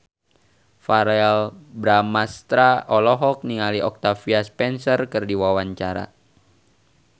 Verrell Bramastra olohok ningali Octavia Spencer keur diwawancara